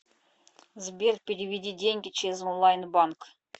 сбер переведи деньги через онлайн банк